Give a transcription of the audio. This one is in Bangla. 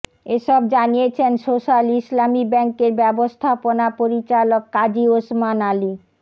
এসব জানিয়েছেন সোস্যাল ইসলামী ব্যাংকের ব্যবস্থাপনা পরিচালক কাজী ওসমান আলী